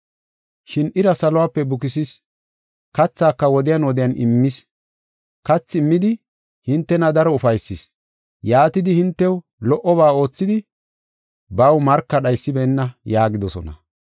Shin ira saluwape bukisis, kathaaka wodiyan wodiyan immis, kathi immidi hintena daro ufaysis, yaatidi hintew lo77oba oothidi baw marka dhaysibeenna” yaagidosona.